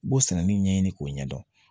U b'o sananin ɲɛɲini k'o ɲɛdɔn